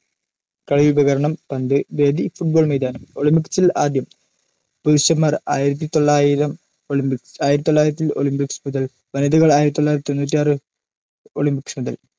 കളി ഉപകരണം പന്ത് വേദി football മൈതാനം ഒളിമ്പിക്സിൽ ആദ്യം പുരുഷന്മാർ ആയിരത്തിതൊള്ളായിരം ഒളിമ്പിക്സ്ആയിരത്തിതൊള്ളായിരത്തി ഒളിംപിക്‌സ് മുതൽ വനിതകൾ ആയിരത്തിതൊള്ളായിരത്തിതൊണ്ണുറ്റിയാറ് ഒളിംപിക്‌സ് മുതൽ